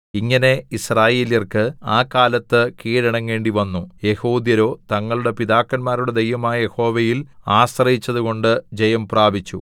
ഇങ്ങനെ യിസ്രായേല്യർക്ക് ആ കാലത്ത് കീഴടങ്ങേണ്ടിവന്നു യെഹൂദ്യരോ തങ്ങളുടെ പിതാക്കന്മാരുടെ ദൈവമായ യഹോവയിൽ ആശ്രയിച്ചതുകൊണ്ട് ജയം പ്രാപിച്ചു